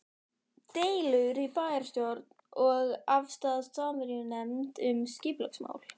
Deilur í bæjarstjórn og afstaða Samvinnunefndar um skipulagsmál